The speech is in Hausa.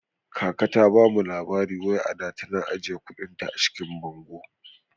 Kaka ta bamu labari wai ada tana ajiyar kuɗin ta a cikin bango